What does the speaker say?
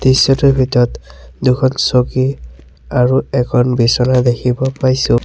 দৃশ্যটোৰ ভিতৰত দুখন চকী আৰু এখন বিছনা দেখিব পাইছোঁ।